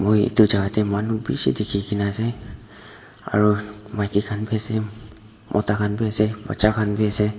moi itu jaga te manu bishi dikhi kena ase aro maiki khan bi ase mota khan bi ase baccha khan bi ase.